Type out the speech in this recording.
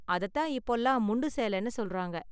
அதத்தான் இப்போலாம் முண்டு சேலன்னு சொல்றாங்க.